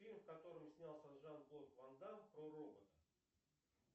фильм в котором снялся жан клод ван дамм про робота